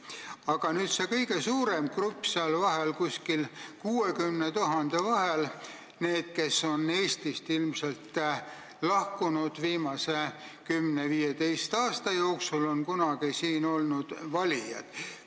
Aga see kõige suurem grupp, 60 000 ümber, on need, kes on Eestist lahkunud ilmselt viimase 10–15 aasta jooksul ja on kunagi siin valijad olnud.